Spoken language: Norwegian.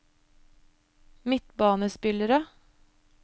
midtbanespillere